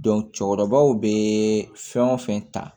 cɛkɔrɔbaw be fɛn o fɛn ta